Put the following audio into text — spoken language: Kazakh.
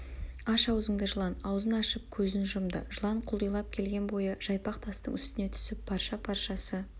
аш аузыңды жылан аузын ашып көзін жұмды жылан құлдилап келген бойы жайпақ тастың үстіне түсіп парша-паршасы